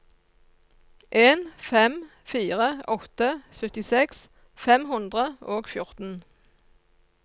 en fem fire åtte syttiseks fem hundre og fjorten